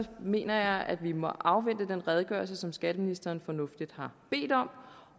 mener jeg at vi må afvente den redegørelse som skatteministeren fornuftigt har bedt om